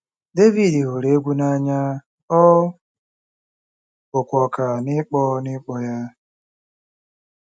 Devid hụrụ egwú n'anya, ọ bụkwa ọkà n'ịkpọ n'ịkpọ ya.